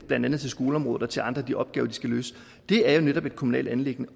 blandt andet til skoleområdet og til andre af de opgaver de skal løse er jo netop et kommunalt anliggende